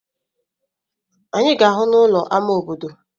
Anyị ga-ahụ n'ụlọ ámá obodo.